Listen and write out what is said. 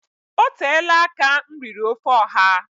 Oteela aka m riri ofe ọha